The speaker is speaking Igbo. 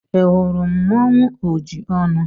Ị hụrụ mmanụ Ojiọnụ?